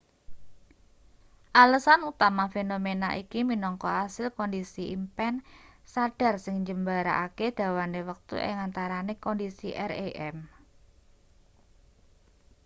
alesan utama fenomena iki minangka asil kondisi impen sadhar sing njembarake dawane wektu ing antarane kondisi rem